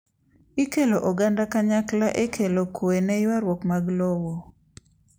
Ikelo oganda kanykla ekelo kwee neyuaruok mag lowo.